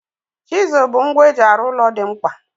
Chizụl bụ ngwa eji arụ ụlọ dị mkpa.